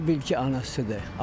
Elə bil ki, anasıdır.